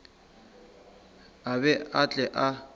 a be a tle a